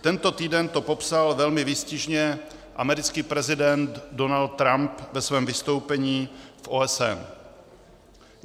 Tento týden to popsal velmi výstižně americký prezident Donald Trump ve svém vystoupení v OSN.